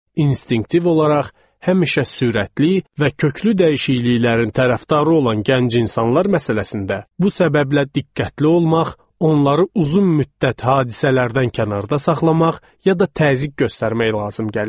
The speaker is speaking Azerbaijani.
İnstinktiv olaraq həmişə sürətli və köklü dəyişikliklərin tərəfdarı olan gənc insanlar məsələsində bu səbəblə diqqətli olmaq, onları uzun müddət hadisələrdən kənarda saxlamaq ya da təzyiq göstərmək lazım gəlirdi.